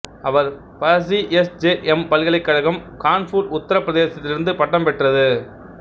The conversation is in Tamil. அவர் ப சி எஸ் ஜே எம் பல்கலைக்கழகம் கான்பூர் உத்திரப் பிரதேசத்திலிருந்து பட்டம் பெற்றது